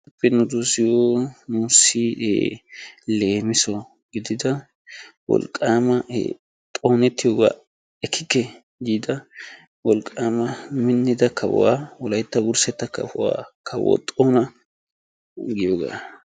hagee nuussi leemisso gididda xoonetiyoogaa ekkekke giida wolqaama minida kawuwa wolaytta wursetta kawuwa kawo xoona giyoogaa.